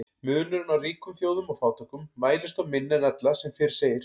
Munurinn á ríkum þjóðum og fátækum mælist þó minni en ella sem fyrr segir.